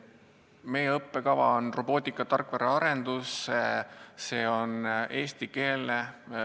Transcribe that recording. Meie õppekava on robootikatarkvara arendus, see on eestikeelne.